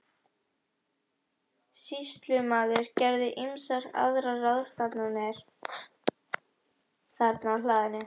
Sýslumaður gerði ýmsar aðrar ráðstafanir þarna á hlaðinu.